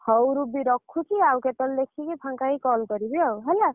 ହଉ ରୁବି ରଖୁଛି ଆଉ କେଟବେଳେ ଦେଖିକି ଫାଙ୍କ ହେଇକି call କରିବି ହେଲା।